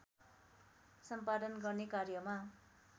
सम्पादन गर्ने कार्यमा